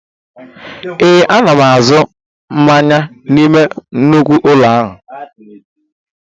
Ee, a na m azụ mmanya n'ime nnukwu ụlọ ahịa